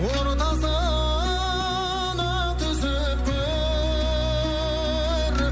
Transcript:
ортасына түсіп көр